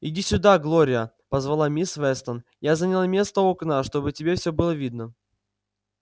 иди сюда глория позвала мисс вестон я заняла место у окна чтобы тебе всё было видно